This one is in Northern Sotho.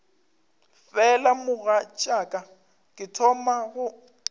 fela mogatšaka ke thoma go